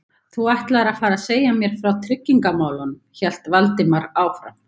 Þú ætlaðir að fara að segja mér frá tryggingamálunum- hélt Valdimar áfram.